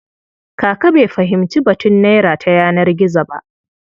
Kaka bai fahimci batun naira ta yanar gizo ba.